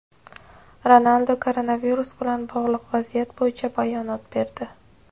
Ronaldu koronavirus bilan bog‘liq vaziyat bo‘yicha bayonot berdi.